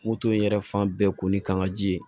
Moto in yɛrɛ fan bɛɛ ko ni kan ka ji ye